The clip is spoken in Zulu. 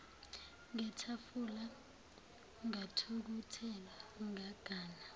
ngetafula ngathukuthela ngagana